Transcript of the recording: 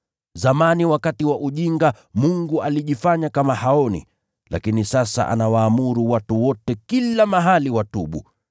Zamani wakati wa ujinga, Mungu alijifanya kama haoni, lakini sasa anawaamuru watu wote kila mahali watubu.